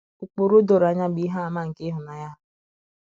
Ụkpụrụ doro anya bụ ihe àmà nke ịhụnanya ha.